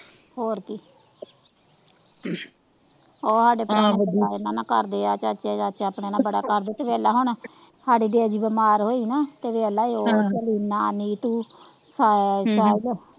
ਹੋਰ ਕੀ ਓਹ ਸਾਡੇ ਘਰ ਦੇ ਆ ਚਾਚਾ ਚਾਚਾ ਆਪਣੇ ਨਾਲ ਬੜਾ ਕਰਦੇ ਤੇ ਵੇਖ ਲੈ ਹੁਣ ਸਾਡੇ ਦੇਆ ਜੀ ਬੀਮਾਰ ਹੋਏ ਸੀ ਨਾਂ ਤਾਂ ਵੇਖ ਲਾ ਓਹ ਨਾਂ ਨੀਤੂ ਸਾ ਸਾਹਿਲ ਹਮ ਹੋਰ ਕੀ,